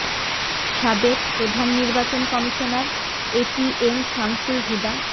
সাবেক প্রধান নির্বাচন commissioner A T M Shamsul Huda